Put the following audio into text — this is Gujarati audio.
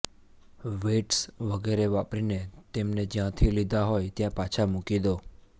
વેટ્સ વગેરે વાપરીને તેમને જ્યાંથી લીધા હોય ત્યાં પાછા મૂકી દો